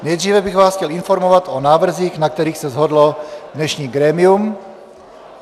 Nejdříve bych vás chtěl informovat o návrzích, na kterých se shodlo dnešní grémium.